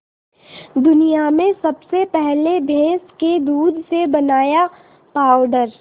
दुनिया में सबसे पहले भैंस के दूध से बनाया पावडर